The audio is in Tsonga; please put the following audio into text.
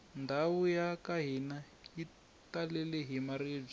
ndhawu yaka hina yi talele hi maribye